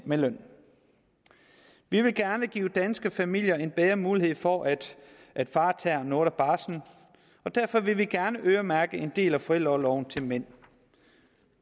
mænd vi vil gerne give danske familier en bedre mulighed for at at far tager noget af barslen og derfor vil vi gerne øremærke en del af forældreorloven til mænd